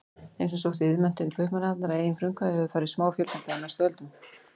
Þeim sem sóttu iðnmenntun til Kaupmannahafnar að eigin frumkvæði hefur farið smáfjölgandi á næstu öldum.